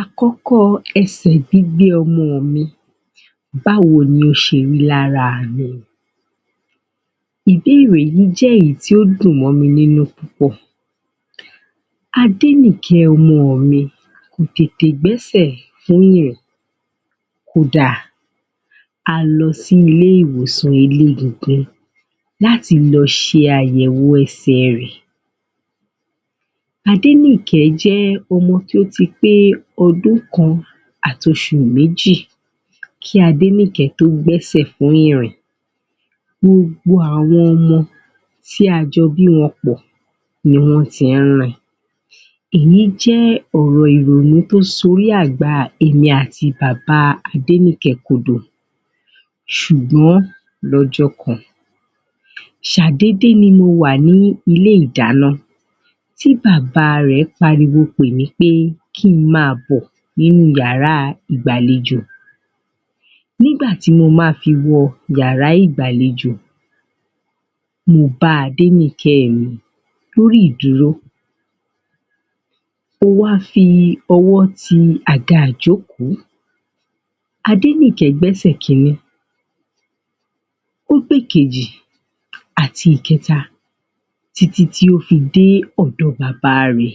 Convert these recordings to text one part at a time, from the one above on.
Àkọ́kọ́ ẹsẹ̀ gbígbé ọmọ mi báwo ni ó ṣe rí ní ara mi Ìbéèrè yìí jẹ́ èyí tó dùn mọ́ mi púpọ̀ Adéníkẹ ọmọ mi kò tètè gbẹ́sẹ̀ ní ìrìn kó dà, a lọ sí ilé-ìwòsàn elégungun láti lọ ṣe àyẹ̀wò ẹsẹ̀ rẹ̀ Adéníkẹ jẹ́ ọmọ tí ó ti pé ọmọ ọdún kan àti oṣù méjì kí Adéníkẹ tó gbé ẹsẹ̀ ní ìrìn gbogbo àwọn ọmọ tí a jọ bí wọn pọ̀ ni wọ́n ti ń rìn Èyí jẹ́ ọ̀rọ̀ ìrònú tí ó sọ orí àgbá èmi àti bàbá Adéníkẹ̀ẹ́ kodò ṣùgbọ́n lọ́jọ́ kan ṣàdédé ni mo wà ní ilé-ìdáná tí bàbá rẹ̀ pariwo pè mí pé kí ń máa bọ̀ nínú yàrá ìgbàlejò Nígbà tí mo máa fi wọ yàrá ìgbàlejò mo bá Adéníkẹ̀ẹ́ mi lórí ìdúró ó wá fi ọwọ́ ti àga ìjókòó Adéníkẹ̀ẹ́ gbẹ́sẹ̀ kinní ó gbé ìkejì àti ìkẹta títí tí ó fi dé ọ̀dọ bàbá rẹ̀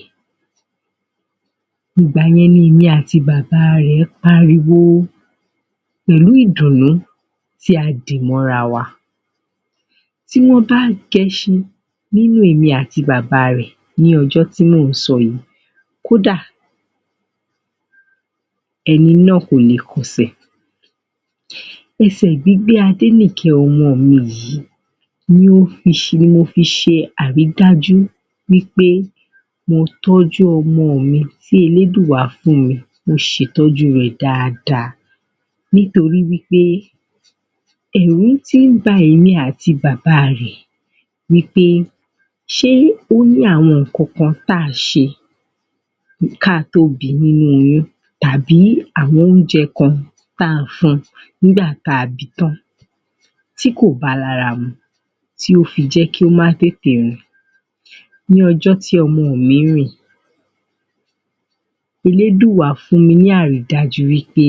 Ìgbà yẹn ni èmi àti bàbá rẹ̀ pariwo pẹ̀lú ìdùnnú tí a dì mọ́ ara wa Tí wọ́n bá ń gẹṣin ní inú èmi àti bàbá rẹ̀ ní ọjọ́ tí mò ń sọ yìí kó dà, ẹni náà kò lè kọsẹ̀ ẹsẹ̀ gbígbé Adéníkẹ̀ẹ́ ọmọ mi yìí ni mo fi ṣe àrídájú wí pé mo tọ́jú ọmọ mi tí elédùà fún mi, mo ṣe ìtọ́jú rẹ̀ dáadáa nítorí wí pé ẹ̀rù ti ń ba èmi àti bàbá rẹ̀ wí pé ṣé ó ní àwọn nǹkankan tí à ń ṣe kí a tó bi nínú oyún tàbí àwọn oúnjẹ kan tí à ń fun nígbà tí a bi tán tí kò ba lára mu tí ó fi jẹ́ kí ó má tètè rìn ní ọjọ́ tí ọmọ mi rìn elédùà fún mi ní àrídájú wí pé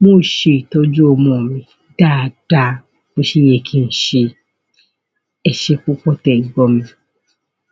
mo ṣe ìtọ́jú ọmọ mi dáadáa bí ó ṣe yẹ kí n ṣe ẹṣẹ́ púpọ̀ tí e gbọ́ mi